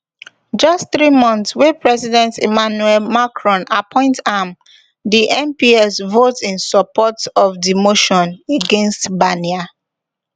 just three months wey president emmanuel macron appoint am di mps vote in support of di motion against barnier